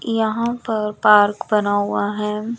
यहां पर पार्क बना हुआ है।